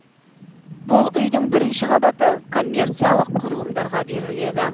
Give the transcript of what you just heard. бұл үйдің бірінші қабаты коммерциялық құрылымдарға беріледі